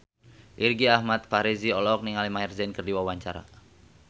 Irgi Ahmad Fahrezi olohok ningali Maher Zein keur diwawancara